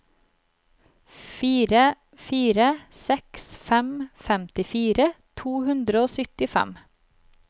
fire fire seks fem femtifire to hundre og syttifem